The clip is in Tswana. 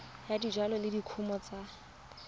ya dijalo le dikumo tsa